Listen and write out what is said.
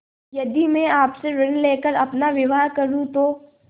यदि मैं आपसे ऋण ले कर अपना विवाह करुँ तो